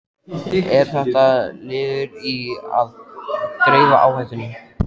Er þetta liður í að dreifa áhættunni?